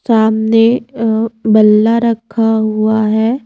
सामने अ बल्ला रखा हुआ है।